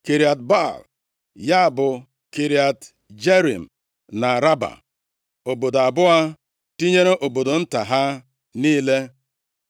Kiriat Baal, ya bụ, Kiriat Jearim na Raba, obodo abụọ tinyere obodo nta ha niile.